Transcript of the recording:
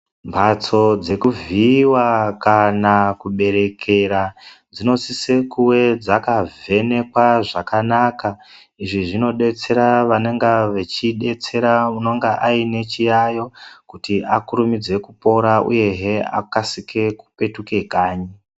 Mhatso dzekuvhiiwa kana kuberekera dzinosise kuve dzakavhenekwa zvakana. Izvi zvinodetsera vanonga vachidetsera unonga aine chiyayo kuti akurumidze kupora uyehe akasike kupetuka kanyi.